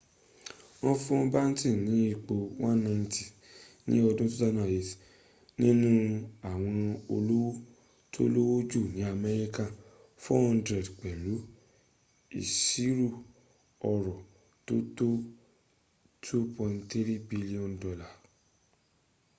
wọ́n fún batten ní ipò 190th ní ọdún 2008 nínu àwọn olówó tó lówó jù ní amẹ́ríkà 400 pẹ̀lú ìṣirò ọrọ̀ tó tó $2.3 billion